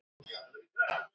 Ég tók hana.